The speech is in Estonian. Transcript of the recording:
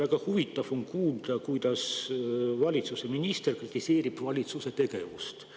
Väga huvitav on kuulda, kuidas valitsuse minister kritiseerib valitsuse tegevust.